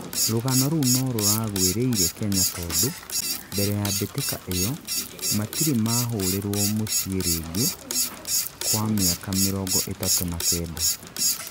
rũgano rũu no ruragwĩrĩire Kenya tondũ, mbere ya mbĩtika iyo, matire mahũrĩrwo mũciĩ rĩngĩ kwa mĩaka mĩrongo ĩtatũ na Kenda